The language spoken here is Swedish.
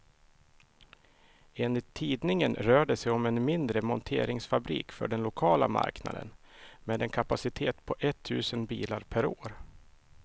Enligt tidningen rör det sig om en mindre monteringsfabrik för den lokala marknaden, med en kapacitet på ett tusental bilar per år.